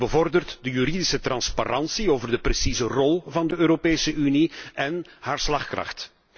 Die bevordert de juridische transparantie over de precieze rol van de Europese Unie en haar slagkracht.